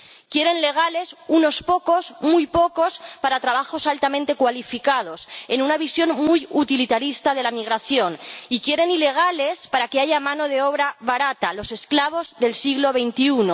Quieren legales, unos pocos —muy pocos— para trabajos altamente cualificados, en una visión muy utilitarista de la migración y quieren ilegales para que haya mano de obra barata, los esclavos del siglo XXI.